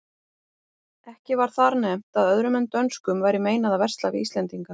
Ekki var þar nefnt að öðrum en dönskum væri meinað að versla við íslendinga.